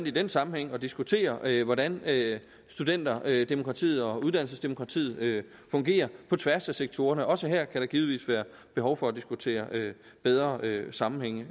i den sammenhæng at diskutere hvordan studenterdemokratiet og uddannelsesdemokratiet fungerer på tværs af sektorerne også her kan der givetvis være behov for at diskutere bedre sammenhænge